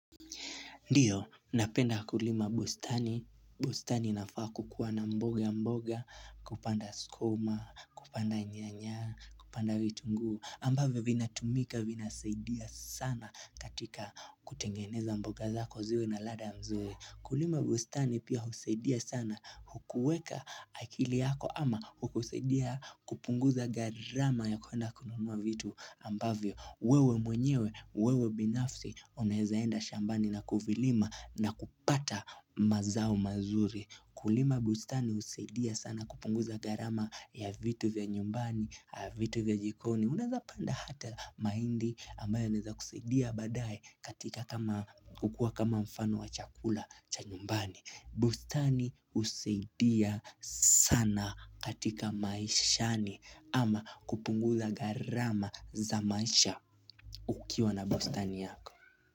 Ndio, napenda kulima bustani. Bustani nafaa kukuwa na mboga mboga, kupanda skuma, kupanda nyanya, kupanda vitungu. Ambavyo vina tumika, vina saidia sana katika kutengeneza mboga zako ziwe na ladha mzuri. Kulima bustani pia husaidia sana hukuweka akili yako ama hukusaidia kupunguza gharama ya kuenda kununua vitu ambavyo. Wewe mwenyewe, wewe binafsi, unaeza enda shambani na kuvilima na kupata mazao mazuri Kulima bustani husaidia sana kupunguza gharama ya vitu vya nyumbani, vitu vya jikoni Unaeza panda hata mahindi ambayo inaeza kusaidia baadae katika kama kukua kama mfano wa chakula cha nyumbani bustani husaidia sana katika maishani ama kupungzla gharama za maisha ukiwa na bustani yako.